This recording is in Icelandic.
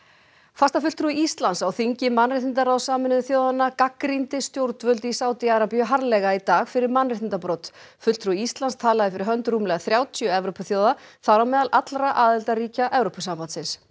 fastafulltrúi Íslands á þingi mannréttindaráðs Sameinuðu þjóðanna gagnrýndi stjórnvöld í Sádi Arabíu harðlega í dag fyrir mannréttindabrot fulltrúi Íslands talaði fyrir hönd rúmlega þrjátíu Evrópuþjóða þar á meðal allra aðildarríkja Evrópusambandsins